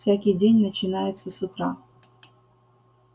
всякий день начинается с утра